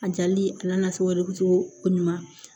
A jali a n'a fɛ wɛrɛ bi bɔ o ɲuman